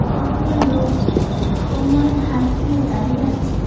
একটা লোক কোমরে হাত দিয়ে দাঁড়িয়ে আছে।